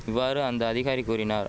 இவ்வாறு அந்த அதிகாரி கூறினார்